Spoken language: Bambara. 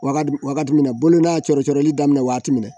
Wagadu wagati min na bolo n'a cɔɔrɔ cɔɔri daminɛ waati min na